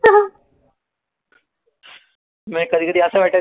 म्हणजे कधी कधी कस वाटायचं